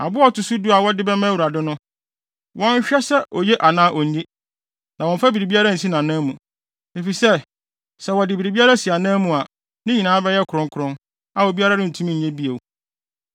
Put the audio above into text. Aboa a ɔto so du a wɔde bɛma Awurade no, wɔnnhwɛ sɛ oye anaa onye, na wɔmmfa biribiara nsi nʼanan mu, efisɛ sɛ wɔde biribiara si anan mu a, ne nyinaa bɛyɛ kronkron, a obiara rentumi nnye bio.’ ”